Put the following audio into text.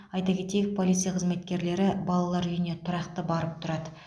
айта кетейік полиция қызметкерлері балалар үйіне тұрақты барып тұрады